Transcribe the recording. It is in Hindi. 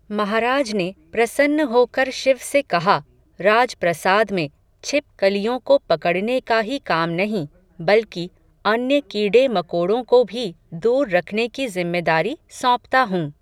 महाराज ने, प्रसन्न होकर शिव से कहा, राज प्रसाद में, छिपकलियों को पकड़ने का ही काम नहीं, बल्कि, अन्य कीडे मकोड़ों को भी, दूर रखने की ज़िम्मेदारी सौंपता हूँ